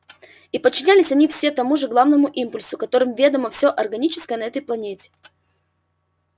и подчинялись они все тому же главному импульсу которым ведомо всё органическое на этой планете